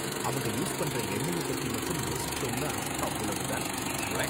அவங்க யூஸ் பண்ற எண்ணெய்ய பத்தி மட்டும் யோசிச்சோம்னா அவ்ளோ தான், உவ்வே